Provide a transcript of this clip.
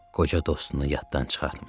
Qoca dostunu yaddan çıxartma.